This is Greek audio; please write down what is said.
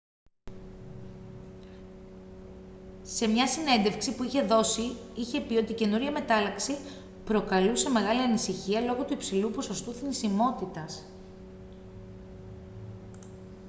σε μια συνέντευξη που είχε δώσει είχε πει ότι η καινούργια μετάλλαξη «προκαλούσε μεγάλη ανησυχία λόγω του υψηλού ποσοστού θνησιμότητας»